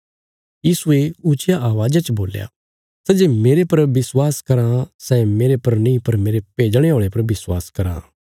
यीशुये ऊच्चिया अवाज़ा च बोल्या सै जे मेरे पर विश्वास कराँ सै मेरे पर नीं पर मेरे भेजणे औल़े पर विश्वास कराँ